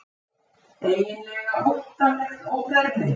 Eiginlega óttalegt óbermi.